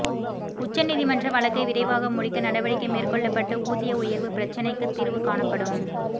உச்சநீதிமன்ற வழக்கை விரைவாக முடிக்க நடவடிக்கை மேற்கொள்ளப்பட்டு ஊதிய உயர்வு பிரச்னைக்கு தீர்வு காணப்படும்